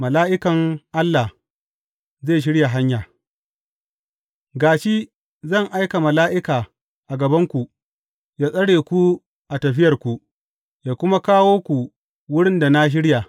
Mala’ikan Allah zai shirya hanya Ga shi, zan aika mala’ika a gabanku, yă tsare ku a tafiyarku, yă kuma kawo ku wurin da na shirya.